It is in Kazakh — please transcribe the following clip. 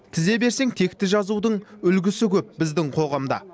тізе берсең текті жазудың үлгісі көп біздің қоғамда